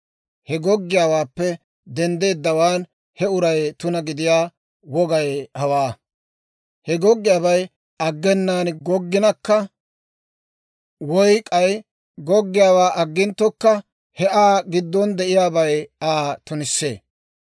He goggiyaawaappe denddeedawaan he uray tuna gidiyaa wogay hawaa: He goggiyaabay aggenaan gogginakka woy k'ay goggiyaawaa agginttokka he Aa giddon de'iyaabay Aa tunissee.